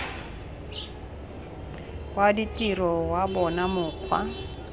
wa ditiro wa bona mokgwa